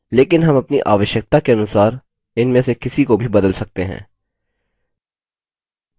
लेकिन हम अपनी आवश्यकता के अनुसार इनमें से किसी को भी बदल सकते हैं